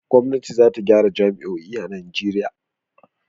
Gwamnati za ta gyara jami'o'i a Najeriya.